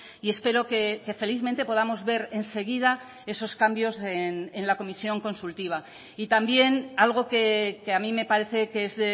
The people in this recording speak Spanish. y espero que felizmente podamos ver enseguida esos cambios en la comisión consultiva y también algo que a mí me parece que es